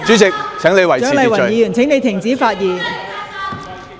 蔣麗芸議員，請你停止發言。